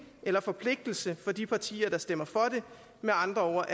eller forpligtelse for de partier der stemmer for det med andre ord